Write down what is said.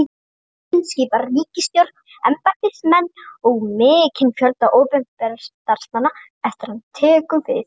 Forsetinn skipar ríkisstjórn, embættismenn og mikinn fjölda opinberra starfsmanna eftir að hann tekur við.